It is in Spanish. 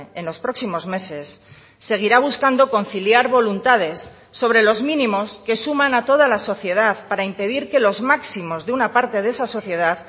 en los próximos meses seguirá buscando conciliar voluntades sobre los mínimos que suman a toda la sociedad para impedir que los máximos de una parte de esa sociedad